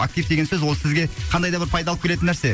актив деген сөз ол сізге қандай да бір пайда алып келетін нәрсе